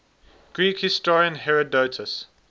greek historian herodotus